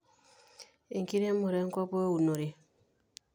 enkiremore enkop weunore